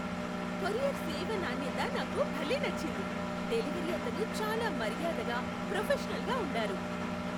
Courier సేవ నాణ్యత నాకు భలే నచ్చింది, డెలివరీ అతను చాలా మర్యాదగా ప్రొఫెషనల్గా ఉండారు.